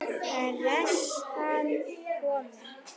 Pressan komin.